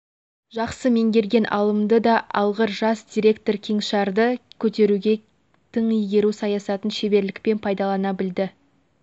жақсы меңгерген алымды да алғыр жас директор кеңшарды көтеруде тың игеру саясатын шеберлікпен пайдалана білді